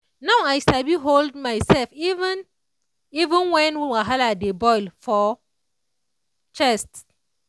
no i sabi hold myself even even when wahala dey boil for chest.